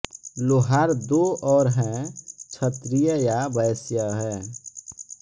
लोहार दो और हैं क्षत्रिय या वैश्य है